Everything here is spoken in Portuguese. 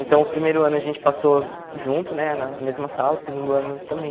Então o primeiro ano a gente passou junto né, na mesma sala, o segundo ano também.